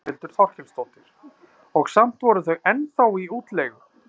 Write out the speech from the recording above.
Þórhildur Þorkelsdóttir: Og samt voru þau ennþá í útleigu?